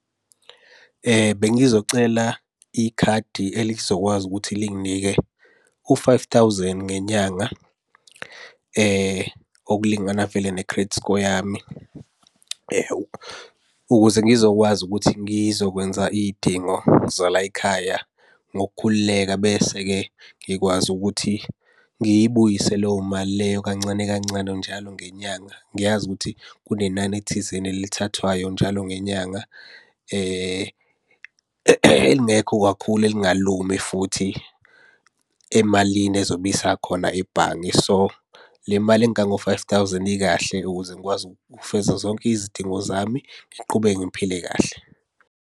Bengizocela ikhadi elizokwazi ukuthi linginike u-five thousand ngenyanga okulingana vele ne-credit score yami, ukuze ngizokwazi ukuthi ngizokwenza iy'dingo zalayikhaya ngokukhululeka. Bese-ke ngikwazi ukuthi ngiyibuyise leyo mali leyo kancane kancane njalo ngenyanga. Ngiyazi ukuthi kunenani thizeni elithathwayo njalo ngenyanga elingekho kakhulu elingalumi futhi emalini ezobe isakhona ebhange. So, le mali engango five thousand ikahle ukuze ngikwazi ukufeza zonke izidingo zami ngiqhubeke ngiphile kahle.